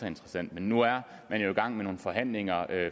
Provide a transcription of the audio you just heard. interessant men nu er man jo i gang med nogle forhandlinger